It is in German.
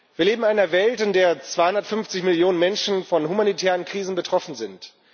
Wir leben in einer Welt, in der 250 Millionen Menschen von humanitären Krisen betroffen sind.